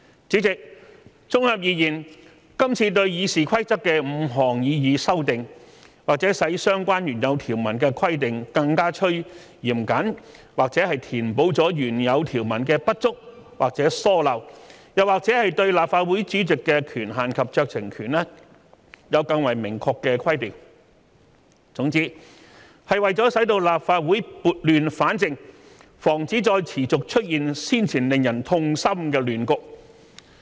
主席，綜合而言，今次對《議事規則》的5項擬議修訂，或者使相關原有條文的規定更趨嚴謹，或者填補了原有條文的不足或疏漏，或者對立法會主席的權限及酌情權有更為明確的規定，總之，是為了使立法會撥亂反正，防止再持續出現先前令人痛心的亂局。